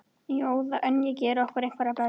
Í óðaönn að gera okkur einhverja bölvun.